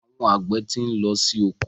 Àwọn àgbẹ̀ ti ń lọ sí oko.